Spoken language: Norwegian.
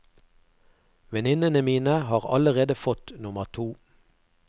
Venninnene mine har allerede fått nummer to.